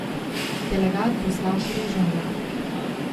Delegat bo Slavko Režonja.